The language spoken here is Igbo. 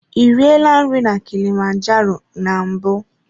Ị riela nri na kilimanjaro na mbụ?